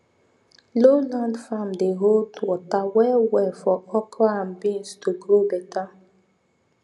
low land farm dey hold water well well for okra and beans to grow better